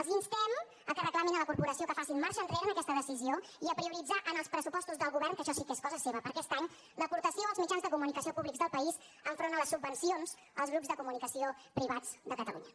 els instem a reclamar a la corporació que faci marxa enrere en aquesta decisió i a prioritzar en els pressupostos del govern que això sí que és cosa seva per a aquest any l’aportació als mitjans de comunicació públics del país enfront de les subvencions als grups de comunicació privats de catalunya